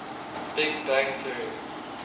big bang theory